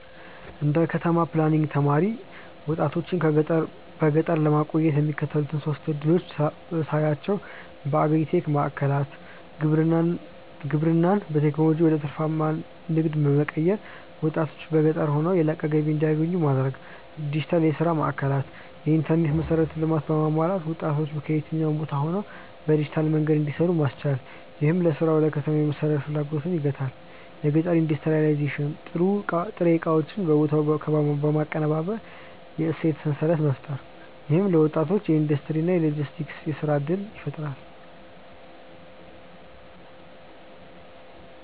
እንደ ከተማ ፕላኒንግ ተማሪ፣ ወጣቶችን በገጠር ለማቆየት የሚከተሉትን ሶስት ዕድሎች ሳያቸው የአግሪ-ቴክ ማዕከላት: ግብርናን በቴክኖሎጂ ወደ ትርፋማ ንግድ በመቀየር፣ ወጣቶች በገጠር ሆነው የላቀ ገቢ እንዲያገኙ ማድረግ። ዲጂታል የሥራ ማዕከላት: የኢንተርኔት መሠረተ ልማት በማሟላት ወጣቶች ከየትኛውም ቦታ ሆነው በዲጂታል መንገድ እንዲሰሩ ማስቻል፣ ይህም ለሥራ ወደ ከተማ የመሰደድ ፍላጎትን ይገታል። የገጠር ኢንዱስትሪያላይዜሽን: ጥሬ ዕቃዎችን በቦታው በማቀነባበር የእሴት ሰንሰለት መፍጠር። ይህም ለወጣቶች የኢንዱስትሪ እና የሎጂስቲክስ የሥራ ዕድል ይፈጥራል።